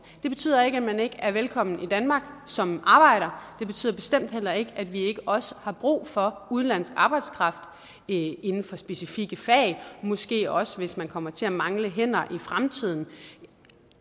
det betyder ikke at man ikke er velkommen i danmark som arbejder det betyder bestemt heller ikke at vi ikke også har brug for udenlandsk arbejdskraft inden for specifikke fag måske også hvis man kommer til at mangle hænder i fremtiden